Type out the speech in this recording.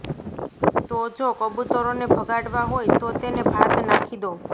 તો જો કબૂતરોને ભગાડવા હોય તો તેને ભાત નાખી દો